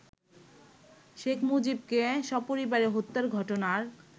শেখ মুজিবকে সপরিবারে হত্যার ঘটনার